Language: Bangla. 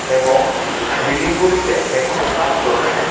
এবং বিলিংগুলিতে এখনও কাজ চলছে.